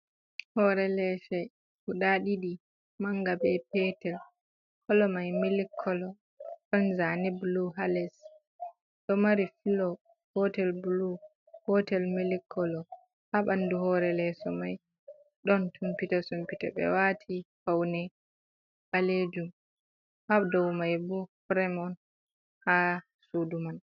Hore lese guda ɗiɗi manga be petel kolo mai milik kolo ɗon zane bulu ha les. Ɗo mari filo gotel bulu, gotel milik kolo. Ha ɓandu hore leso mai ɗon sumpite-sumpite ɓe wati faune ɓalejum. Ha dou mai bo firem on ha sudu man.